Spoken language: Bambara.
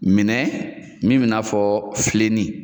Minɛn min bi na fɔ